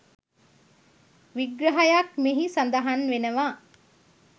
විග්‍රහයක් මෙහි සඳහන් වෙනවා